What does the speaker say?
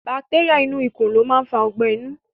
Bacteria inú ikù lo ma n fa ogbẹ̀ inú